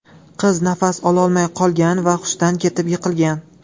Qiz nafas ololmay qolgan va hushdan ketib yiqilgan.